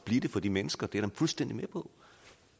blive det for de mennesker det er jeg fuldstændig med på